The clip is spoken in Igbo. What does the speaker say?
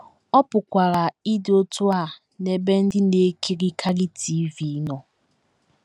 Ọ pụkwara ịdị otú a n’ebe ndị na - ekirikarị TV nọ.